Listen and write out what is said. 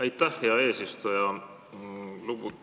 Aitäh, hea eesistuja!